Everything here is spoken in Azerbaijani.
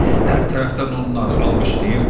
Hər tərəfdən onları alqışlayırdılar.